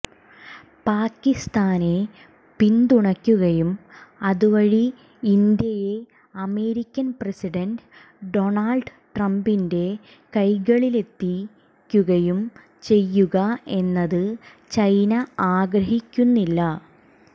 പാകിസ്ഥാനെ പിന്തുണക്കുകയും അതുവഴി ഇന്ത്യയെ അമേരിക്കൻ പ്രസിഡന്റ് ഡൊണാൾഡ് ട്രംപിന്റെ കൈകളിലെത്തിക്കുകയും ചെയ്യുക എന്നത് ചൈന ആഗ്രഹിക്കുന്നില്ല